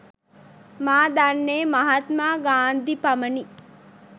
මා දන්නේ මහත්මා ගාන්ධි පමණි.